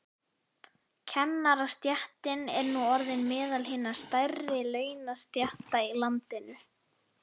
Kennarastéttin er nú orðin meðal hinna stærri launastétta í landinu.